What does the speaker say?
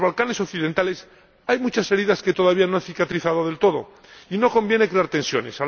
En los Balcanes Occidentales hay muchas heridas que todavía no han cicatrizado del todo, y no conviene crear tensiones.